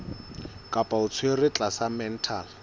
kapa o tshwerwe tlasa mental